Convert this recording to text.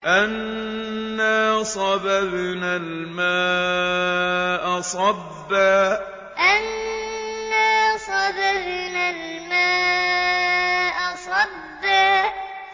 أَنَّا صَبَبْنَا الْمَاءَ صَبًّا أَنَّا صَبَبْنَا الْمَاءَ صَبًّا